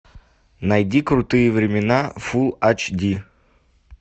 найди крутые времена фулл айч ди